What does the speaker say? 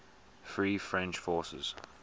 free french forces